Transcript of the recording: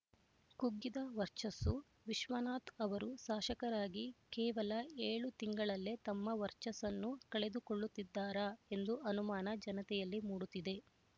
ಕುಗ್ಗಿದ ವರ್ಚಸ್ಸು ವಿಶ್ವನಾಥ್ ಅವರು ಶಾಸಕರಾಗಿ ಕೇವಲ ಏಳು ತಿಂಗಳಲ್ಲೇ ತಮ್ಮ ವರ್ಚಸ್ಸನ್ನು ಕಳೆದುಕೊಳ್ಳುತ್ತಿದ್ದಾರಾ ಎಂದು ಅನುಮಾನ ಜನತೆಯಲ್ಲಿ ಮೂಡುತ್ತಿದೆ